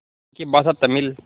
यहाँ की भाषा तमिल